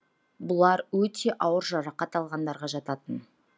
бұлар өте ауыр жарақат алғандарға жататын